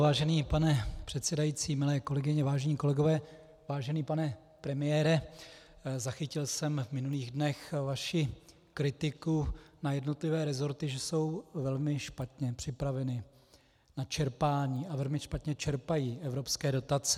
Vážený pane předsedající, milé kolegyně, vážení kolegové, vážený pane premiére, zachytil jsem v minulých dnech vaši kritiku na jednotlivé resorty, že jsou velmi špatně připraveny na čerpání a velmi špatně čerpají evropské dotace.